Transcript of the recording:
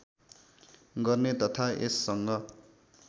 गर्ने तथा यससँग